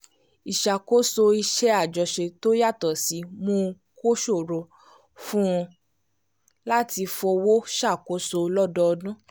ìṣàkóso iṣẹ́ àjọṣe tó yàtọ̀ síi mú kó ṣòro fún un láti fowó ṣàkóso lọ́dọọdún